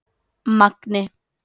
Magni